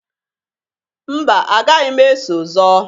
Mba! Agaghị m eso zọọ.